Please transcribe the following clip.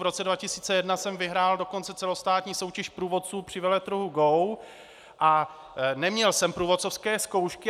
V roce 2001 jsem vyhrál dokonce celostátní soutěž průvodců při veletrhu GO a neměl jsem průvodcovské zkoušky.